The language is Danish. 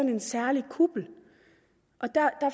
er en særlig kuppel og der